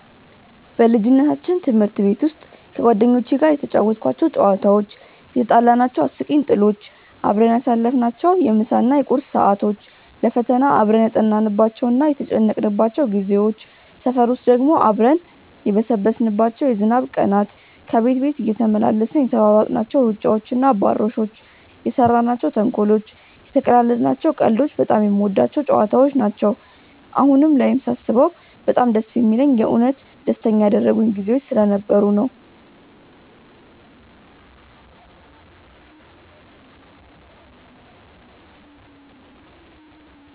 በልጅነታችን ትምህርት ቤት ውስጥ ከጓደኞቼ ጋር የተጫወትኳቸው ጨዋታዎች፣ የትጣላናቸው አስቂኝ ጥሎች፣ አብረን ያሳለፍናቸውን የምሳ እና የቁርስ ሰዓቶች፣ ለፈተና አብረን ያጠናንባቸው እና የተጨነቅንባቸው ጊዜዎች፣ ሰፈር ውስጥ ደግሞ አብረን የበሰበስንባቸው የዝናብ ቀናት፣ ከቤት ቤት እየተመላለስን የተሯሯጥናቸው ሩጫዎች እና አባሮሾች፣ የሰራናቸው ተንኮሎች፣ የተቀላለድናቸው ቀልዶች በጣም የምወዳቸው ጨዋታዎች ነው። አሁን ላይም ሳስበው በጣም ደስ የሚለኝ የእውነት ደስተኛ ያደረጉኝ ጊዜዎች ስለነበሩ ነው።